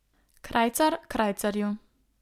Krajcar krajcarju.